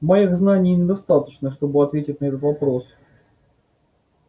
моих знаний недостаточно чтобы ответить на этот вопрос